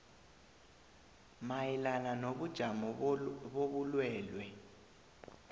mayelana nobujamo bobulwelwe